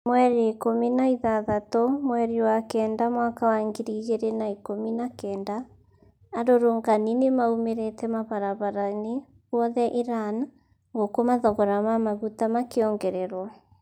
Mweri ikũmi na ithathatu mweri wa kenda mwaka wa ngiri igĩri na ikumi na kenda, Arurungani nimaumirite mabarabrabaini guothe Iran, guku mathogora ma maguta makiongererwo.